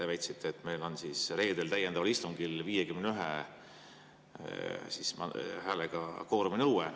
Te väitsite, et meil on reedel täiendaval istungil 51‑hääleline kvooruminõue.